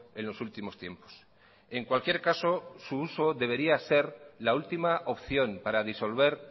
en los últimos tiempos en cualquier caso su uso debería ser la última opción para disolver